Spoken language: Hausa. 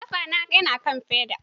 Kafana yana kan feda.